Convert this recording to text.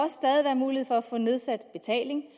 mulighed for at få nedsat betaling